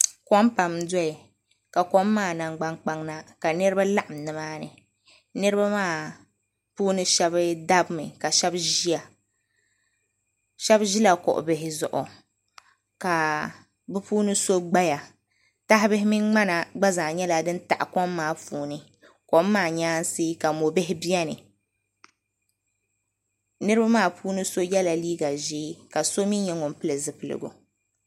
Kom pam n doya ka kom maa namgbani kpaŋa na ka niriba laɣim ni maa ni niriba maa puuni shɛba dabi mi ka shɛba ziya shɛba zila kuɣu bihi zuɣu ka bi puuni so gbaya taha bihi mini mŋana gba zaa nyɛla dini taɣi kom maa puuni kom maa nyɛansi ka mori bihi bɛni niriba maa puuni so ye la liiga zɛɛ ka so mi nyɛ ŋuni pili zipiligu.